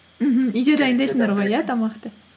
мхм үйде дайындайсыңдар ғой иә тамақты